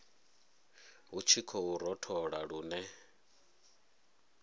hu tshi khou rothola lune